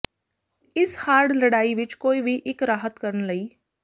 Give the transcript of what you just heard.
ਇਸ ਹਾਰਡ ਲੜਾਈ ਵਿਚ ਕੋਈ ਵੀ ਇੱਕ ਰਾਹਤ ਕਰਨ ਲਈ